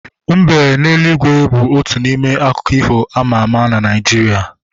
Mbe n'eluigwe bu otu n'ime akụkọ ifo ama ama na Naijiria